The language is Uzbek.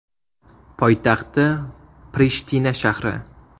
Poytaxti – Prishtina shahri.